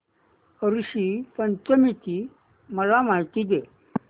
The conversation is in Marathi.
ऋषी पंचमी ची मला माहिती दे